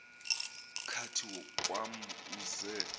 kathi kwam uze